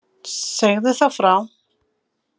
Segðu þá frá.